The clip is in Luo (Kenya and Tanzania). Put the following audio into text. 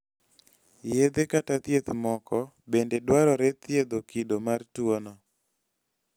yedhe kata thieth moko bende dwarore thiedho kido mar tuwono